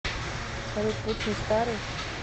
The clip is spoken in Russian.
салют путин старый